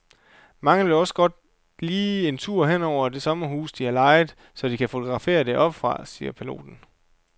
Mange vil også godt lige en tur hen over det sommerhus, de har lejet, så de kan fotografere det oppefra, siger piloten.